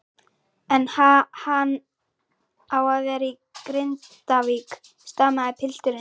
En ha-hann á að vera í Grindavík, stamaði pilturinn.